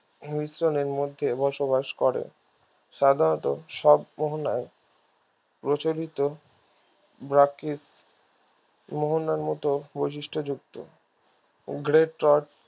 মিশ্রনের মধ্যে বসবাস করে সাধারণত সব মোহনায় প্রচলিত মোহনার মতো বৈশিষ্ট্যযুক্ত